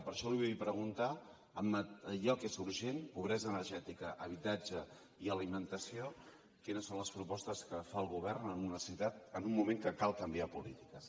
per això li vull preguntar en allò que és urgent pobresa energètica habitatge i alimentació quines són les propostes que fa el govern en un moment que cal canviar polítiques